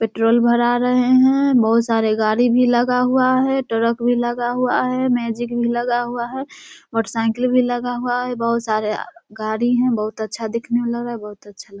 petrol भरा रहे हैं बहुत सारे गाड़ी भी लगा हुआ है ट्रक भी लगा हुआ है मैजिक भी लगा हुआ है मोटरसाइकिल भी लगा हुआ है बहुत सारे अ गाड़ी हैं बहुत अच्छा दिखने में लग रहा है बहुत अच्छा लग --